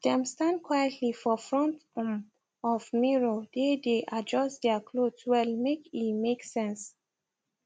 dem stand quietly for front um of mirror dae dae adjust their cloth well make e make sense